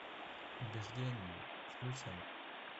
убеждение включай